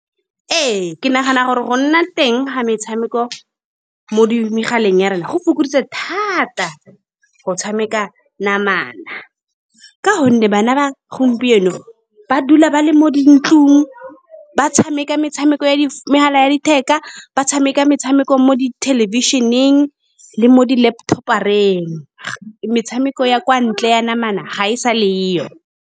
Ee, ke nagana gore go nna teng ga metshameko mo di, mo megaleng ya rona, go fokoditse thata go tshameka ka namana, ka gonne bana ba gompieno ba dula ba le mo dintlong, ba tshameka metshameko ya megala ya letheka, ba tshameka metshameko mo di thelebišheneng le mo di laptop-ong. Metshameko ya kwa ntle ya namana ga e sa .